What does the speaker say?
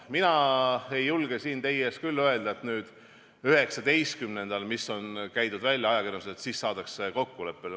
Mina ei julge siin teie ees küll öelda, et nüüd 19. kuupäeval, mis on käidud välja ajakirjanduses, saadakse kokkuleppele.